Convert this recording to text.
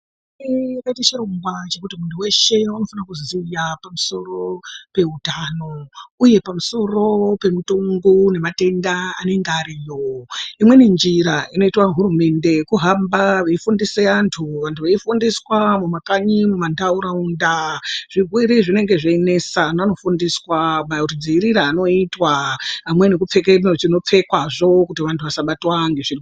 Chirongwa ndechekuti munhu weshe unofanirwa kuziya pamusoro peutano uye pamusoro pemutombo unobate ndaa anenge ariyo imweni njira inoita hurumende kuhamba yeifundise vandu vanenge veifundiswa mumakanyi mundaraunda zvirwere zvinenge zveinetsa vanhu vanofundiswa madziriirwo anoitwa pamweni kupfeke zvinopfekwa zvoo kuti vanhu vasabatwa ngezvirwere.